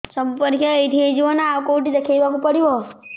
ସବୁ ପରୀକ୍ଷା ଏଇଠି ହେଇଯିବ ନା ଆଉ କଉଠି ଦେଖେଇ ବାକୁ ପଡ଼ିବ